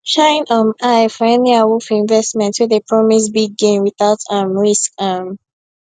shine um eye for any awoof investment wey dey promise big gain without um risk um